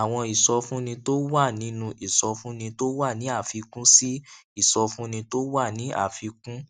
àwọn ìsọfúnni tó wà nínú ìsọfúnni tó wà ní àfikún sí ìsọfúnni tó wà ní àfikún